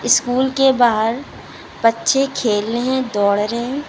School के बाहर बच्चे खेल रहे हैं दौड़ रहे है।